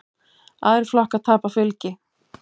Aðrir flokkar tapa fylgi.